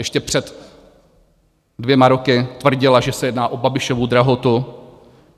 Ještě před dvěma roky tvrdila, že se jedná o Babišovu drahotu.